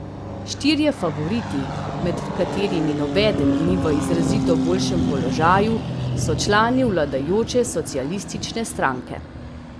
Štirje favoriti, med katerimi nobeden ni v izrazito boljšem položaju, so člani vladajoče Socialistične stranke.